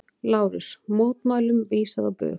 LÁRUS: Mótmælum vísað á bug.